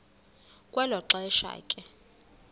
kwelo xesha ke